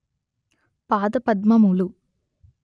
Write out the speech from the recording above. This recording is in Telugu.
పాదపద్మములు